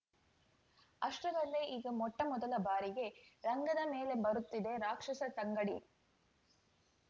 ಅಷ್ಟರಲ್ಲೇ ಈಗ ಮೊಟ್ಟಮೊದಲ ಬಾರಿಗೆ ರಂಗದ ಮೇಲೆ ಬರುತ್ತಿದೆ ರಾಕ್ಷಸ ತಂಗಡಿ